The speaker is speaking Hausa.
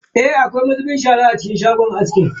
Eh, akwai mazubin shara a cikin shagon askin.